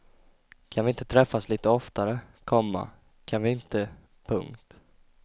Kan vi inte träffas lite oftare, komma kan vi inte. punkt